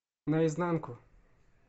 наизнанку